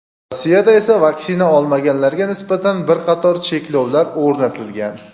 Rossiyada esa vaksina olmaganlarga nisbatan bir qator cheklovlar o‘rnatilgan.